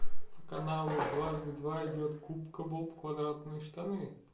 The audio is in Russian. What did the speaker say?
по каналу дважды два идет губка боб квадратные штаны